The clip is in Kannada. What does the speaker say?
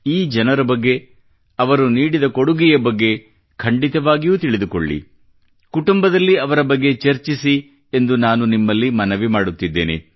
ಈ ಜನರ ಬಗ್ಗೆ ಅವರು ನೀಡಿದ ಕೊಡುಗೆಯ ಬಗ್ಗೆ ಖಂಡಿತವಾಗಿಯೂ ತಿಳಿದುಕೊಳ್ಳಿ ಕುಟುಂಬದಲ್ಲಿ ಅವರ ಬಗ್ಗೆ ಚರ್ಚಿಸಿ ಎಂದು ನಾನು ನಿಮ್ಮಲ್ಲಿ ಮನವಿ ಮಾಡುತ್ತಿದ್ದೇನೆ